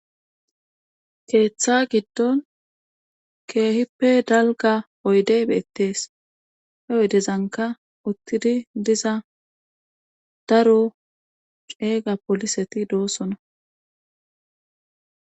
Keeththa giddon keehippe dalga oydey beettees he oydezanka uttidi diza daro ceeyga poliseti doossona.